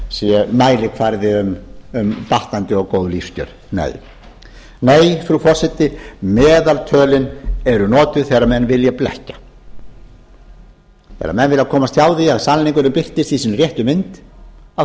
sé mælikvarði um batnandi og góð lífskjör nei frú forseti meðaltölin eru notuð þegar menn vilja blekkja þegar menn vilja komast hjá því að sannleikurinn birtist í sinni réttu mynd